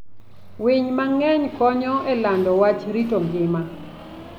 Winy mang'eny konyo e lando wach rito ngima.